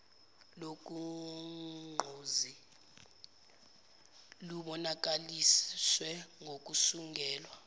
lolugqozi lubonakaliswe ngokusungulwa